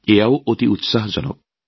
এই কথাও অতি উৎসাহজনক